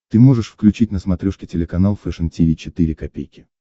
ты можешь включить на смотрешке телеканал фэшн ти ви четыре ка